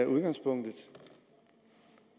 udgangspunktet